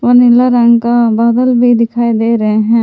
और नीले रंग का बादल भी दिखाई दे रहे हैं।